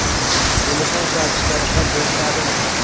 Telefon ishlatishga ruxsat berishadimi?